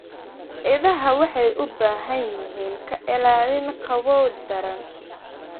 Idaha waxay u baahan yihiin ka ilaalin qabow daran.